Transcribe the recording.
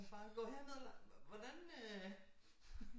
Bare gå herned eller hvordan øh